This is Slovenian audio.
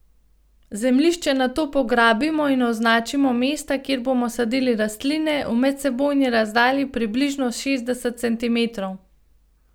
Zemljišče nato pograbimo in označimo mesta, kjer bomo sadili rastline, v medsebojni razdalji približno šestdeset centimetrov.